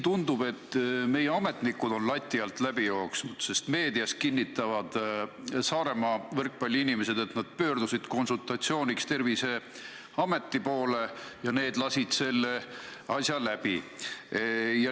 Tundub, et siin on meie ametnikud lati alt läbi jooksnud, sest meedias kinnitavad Saaremaa võrkpalliinimesed, et nad pöördusid konsultatsiooniks Terviseameti poole ja amet lasi selle asja läbi.